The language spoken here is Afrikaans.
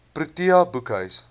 protea boekhuis